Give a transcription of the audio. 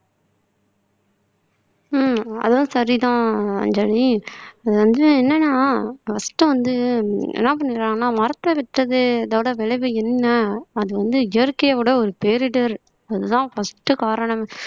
ஆஹ் அதுவும் சரிதான் அஞ்சலி அது வந்து என்னன்னா first வந்து என்ன பண்ணிடுறாங்கன்னா மரத்த வித்ததோட விளைவு என்ன அது வந்து இயற்கையோட ஒரு பேரிடர் அதுதான் first காரணம்